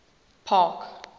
park